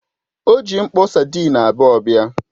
O ji mkpo sadịn abuo bịa.